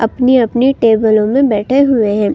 अपनी-अपनी टेबलों में बैठे हुए हैं।